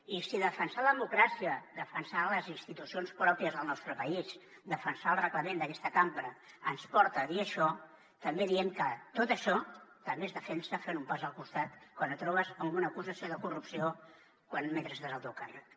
i si defensar la democràcia defensar les institucions pròpies del nostre país defensar el reglament d’aquesta cambra ens porta a dir això també diem que tot això també es defensa fent un pas al costat quan et trobes amb una acusació de corrupció mentre estàs al teu càrrec